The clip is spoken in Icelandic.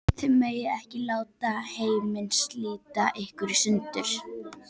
Þið megið ekki láta heiminn slíta ykkur í sundur!